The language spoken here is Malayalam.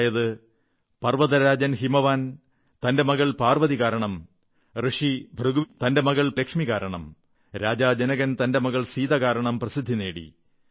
അതായത് പർവ്വതരാജൻ ഹിമവാൻ തന്റെ മകൾ പാർവ്വതി കാരണം ഭൃഗുമുനി തന്റെ മകൾ ലക്ഷ്മി കാരണം ജനകരാജാവ് തന്റെ മകൾ സീത കാരണം പ്രസിദ്ധി നേടി